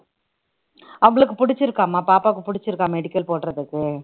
அவளுக்கு பிடிச்சிருக்காமா பாப்பாவுக்கு பிடிச்சிருக்கா medical போடறதுக்கு